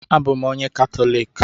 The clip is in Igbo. Abụ m onye Katọlik